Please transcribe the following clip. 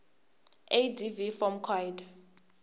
adv form coid